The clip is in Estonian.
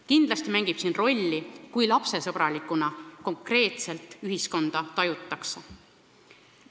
Kindlasti mängib siin rolli see, kui lapsesõbralikuna konkreetset ühiskonda tajutakse.